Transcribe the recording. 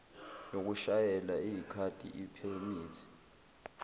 yokushayela eyikhadi iphemithi